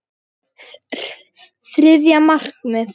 Þriðja markið.